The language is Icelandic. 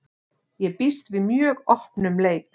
Ég býst við mjög opnum leik.